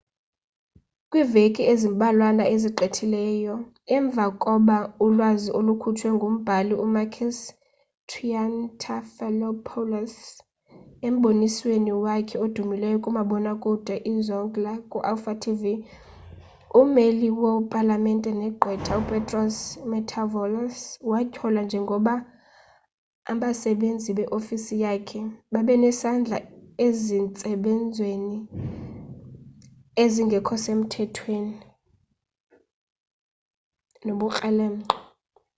kwiiveki ezimbalwana ezigqithileyo emvakoba ulwazi olukhutshwe ngumbhali u-makis triantafylopoulos embonisweni wakhe odumileyo kumabona kude izoungla ku-alpha tv ummeli wo-palamente negqwetha upetros mantaouvalos watyholwa njengoba abasenzi be-ofisi yakhe babenesandla ezintsebenzweni ezingekhosemthethweni nobukrelemnqa